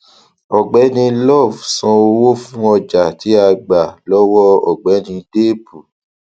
ògbéni love san owó fún ọjà tí a gba lọwọ ògbéni deepu